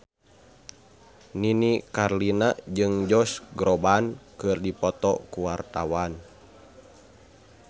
Nini Carlina jeung Josh Groban keur dipoto ku wartawan